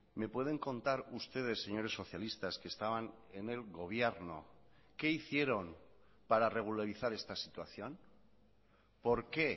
me pueden contar ustedes señores socialistas que estaban en el gobierno qué hicieron para regularizar esta situación por qué